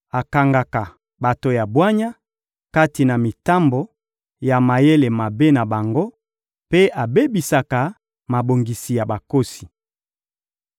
akangaka bato ya bwanya kati na mitambo ya mayele mabe na bango, mpe abebisaka mabongisi ya bakosi.